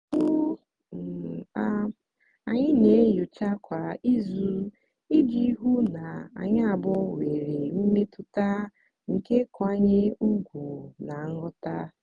ugbu um a anyị na-enyocha kwa izu iji hụ na anyị abụọ nwere mmetụta nke nkwanye ùgwù na nghọta.